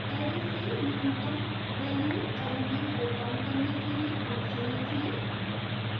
array से न्यूनतम value element return करने के लिए function लिखें